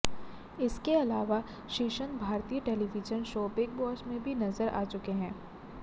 इसके अलावा श्रीसंत भारतीय टेलिविजन शो बिग बॉस में भी नजर आ चुके हैं